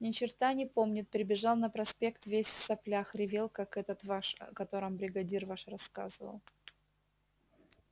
ни черта не помнит прибежал на проспект весь в соплях ревел как этот ваш о котором бригадир ваш рассказывал